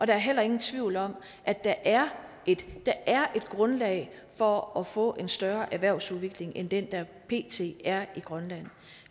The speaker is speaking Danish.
der er heller ingen tvivl om at der er et grundlag for at få en større erhvervsudvikling end den der pt er i grønland